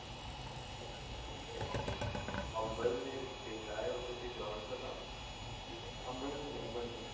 अम्बळनेर ते काय होत ते ground च नाव आंबर्नेल आंबर्नेल